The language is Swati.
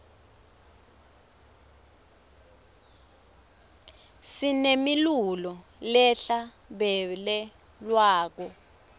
sinemilulo lehla bele lwako